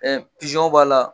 Ɛɛ b'a la